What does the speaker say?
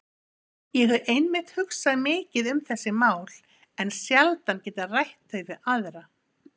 Ég hef einmitt hugsað mikið um þessi mál en sjaldan getað rætt þau við aðra.